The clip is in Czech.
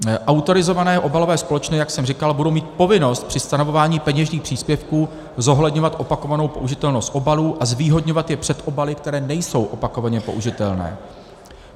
Autorizované obalové společnosti, jak jsem říkal, budou mít povinnost při stanovování peněžních příspěvků zohledňovat opakovanou použitelnost obalů a zvýhodňovat je před obaly, které nejsou opakovaně použitelné.